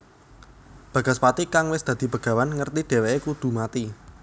Bagaspati kang wis dadi begawan ngerti dhèwèké kudu mati